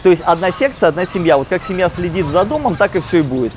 то есть одна секция одна семья вот как семья следит за домом так и всё и будет